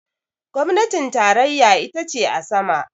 gwamnatin tarayya ita ce a sama